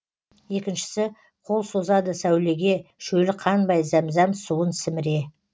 екіншісі қол созады сәулеге шөлі қанбай зәмзәм суын сіміре